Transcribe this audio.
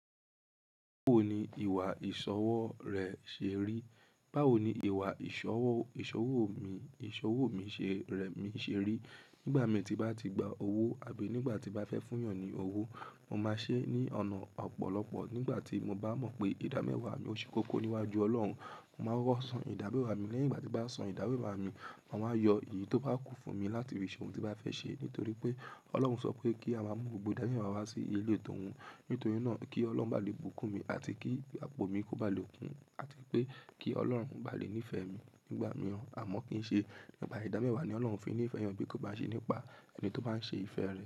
Báwo ni ìwà ìṣọwọ́ rẹ̀ ṣe rí? Báwo ni ìwà ìṣọwọ́, ìṣọwò mi, ìṣọwò mi ṣe rẹ̀, mi ṣe rí? Nígbà min tí mo bá ti gba owó àbí nígbà tí mo bá fẹ́ fún èèyàn ní owó, mo máa ṣe é ní ọ̀nà ọ̀pọ̀lọpọ̀. Nígbà tí mo bá mọ̀ pé ìdámẹ́wàá mi o ṣe kókó níwájú Ọlọ́run, mo máa koko san idamewa mi. Lẹ́yìn ìgbà tí mo bá san ìdámewa mi, ma wáa yọ èyí tó bá kún fún mi láti fí se ohun tí bá fẹ́ ṣe. Nítorí pé Ọlọ́run sọ pé kí a máa mú gbogbo ìdámẹ́wàá wa wá sí ilé towun. Nítorí náà kí Ọlọ́run bá lè bùkún mi àti kí àpò mi kó bá lè kún àti pé kí Ọlọ́run bá lè nífẹ̀ẹ́ mi nígbà mìíràn. Àmọ́ kín ṣe nípa ìdámẹ́wàá ni Ọlọ́run fi ń nífẹ̀ẹ́ èèyàn bí kò bá ṣe nípa ẹni tó bá ń ṣe ìfẹ́ rẹ̀.